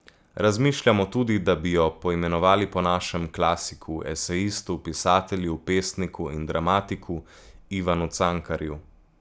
Razmišljamo tudi, da bi jo poimenovali po našemu klasiku, esejistu, pisatelju, pesniku in dramatiku Ivanu Cankarju.